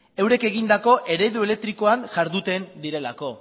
eurek egindako eredu elektrikoan jarduten direlako